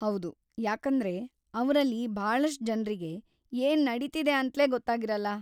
ಹೌದು, ಯಾಕೇಂದ್ರೆ ಅವ್ರಲ್ಲಿ ಭಾಳಷ್ಟ್ ಜನ್ರಿಗೆ ಏನ್‌ ನಡೀತಿದೆ ಅಂತ್ಲೇ ಗೊತ್ತಾಗಿರಲ್ಲ.